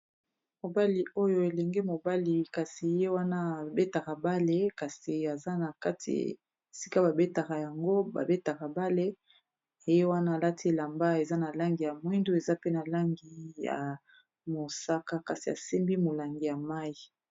mobali oyo elenge mobali kasi ye wana abetaka bale kasi aza na kati sika babetaka yango babetaka bale eye wana alati elamba eza na langi ya mwindu eza pe na langi ya mosaka kasi asembi molangi ya mai